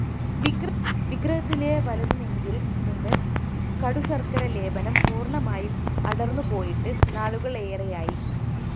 വിഗ്രഹത്തിലെ വലതുനെഞ്ചില്‍ നിന്ന് കടുശര്‍ക്കര ലേപനം പൂര്‍ണമായും അടര്‍ന്നുപോയിട്ട് നാളുകളേറെയായി